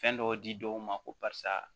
Fɛn dɔw di dɔw ma ko barisa